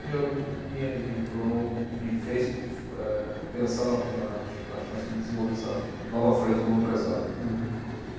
me, me, eh, me tornou, me fez, eh, pensar na po, na, na chance de desenvolver essa nova frente como empresário. Uhum